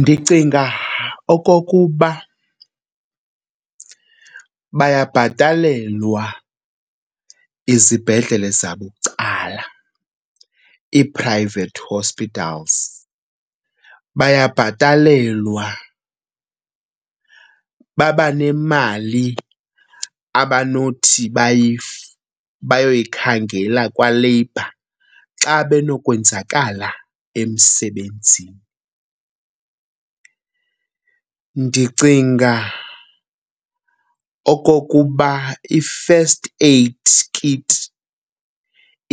Ndicinga okokuba bayabhatalelwa izibhedlele zabucala, ii-private hospitals. Bayabhatalelwa, babanemali abanothi bayoyikhangela kwaLabour xa benokwenzakala emsebenzini. Ndicinga okokuba i-first aid kit